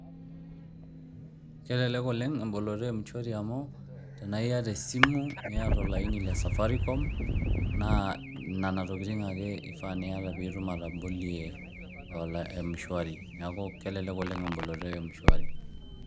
Kelelek oleng' emboloto e m-shwari amu tenaa iyata esimu niata olaini le safaricom ,naa nena tokitin ake ifaa niyata piitum atobolie m-shwari. Neeku kelelek oleng' emboloto e m-shwari.